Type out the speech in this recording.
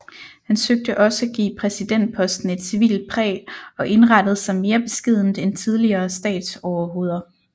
Han søgte også at give præsidentposten et civilt præg og indrettede sig mere beskedent end tidligere statsoverhoveder